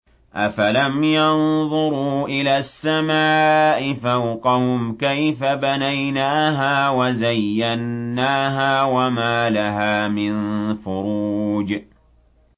أَفَلَمْ يَنظُرُوا إِلَى السَّمَاءِ فَوْقَهُمْ كَيْفَ بَنَيْنَاهَا وَزَيَّنَّاهَا وَمَا لَهَا مِن فُرُوجٍ